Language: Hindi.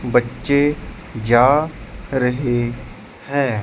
बच्चे जा रहे हैं।